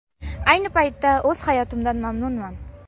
Ayni paytda o‘z hayotimdan mamnunman”.